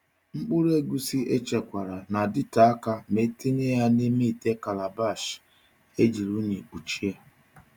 Mkpụrụ egusi echekwara na-adịte aka ma etinye ya n’ime ite calabash ejiri unyi kpuchie.